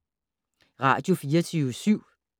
Radio24syv